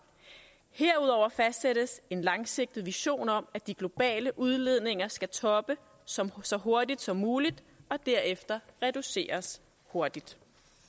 herudover fastsættes en langsigtet vision om at de globale udledninger skal toppe så så hurtigt som muligt og derefter reduceres hurtigt